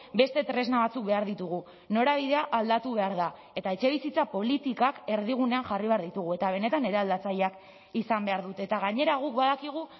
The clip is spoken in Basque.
beste tresna batzuk behar ditugu norabidea aldatu behar da eta etxebizitza politikak erdigunean jarri behar ditugu eta benetan eraldatzaileak izan behar dute eta gainera guk badakigu